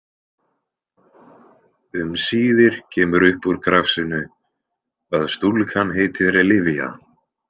Um síðir kemur upp úr krafsinu að stúlkan heitir Livia.